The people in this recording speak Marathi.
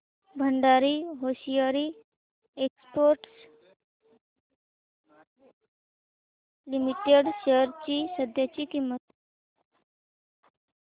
Bhandari hosiery exports limited shares ची सध्याची किंमत